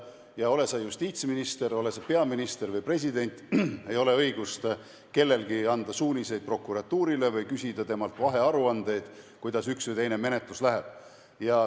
Ja ole sa justiitsminister, ole sa peaminister või president, kellelgi ei ole õigust anda prokuratuurile suuniseid või küsida temalt vahearuandeid, kuidas üks või teine menetlus läheb.